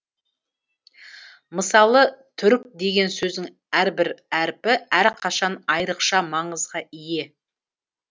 мысалы түрік деген сөздің әрбір әріпі әрқашан айрықша маңызға ие